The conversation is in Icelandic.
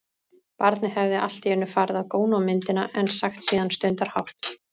Barnið hefði allt í einu farið að góna á myndina, en sagt síðan stundarhátt